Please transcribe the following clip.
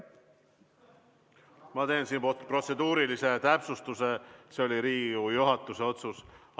Ma teen siinkohal protseduurilise täpsustuse: see oli Riigikogu juhatuse otsus.